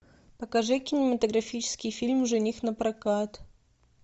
покажи кинематографический фильм жених напрокат